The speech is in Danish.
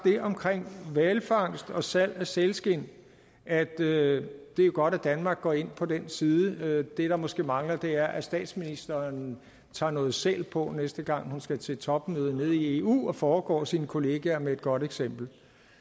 om hvalfangst og salg af sælskind at det er godt at danmark går ind på den side det der måske mangler er at statsministeren tager noget sæl på næste gang hun skal til topmøde nede i eu og foregår sine kollegaer med et godt eksempel